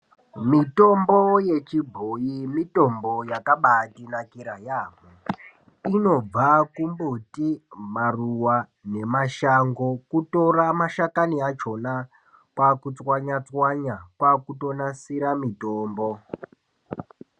Mitombo yechibhoi mitombo yakabatinakira yaamho, inobva kumbuti maruva nemashango. Kutora mashakani achona kwakutswanya-tswanya kwakutonasira mitombo.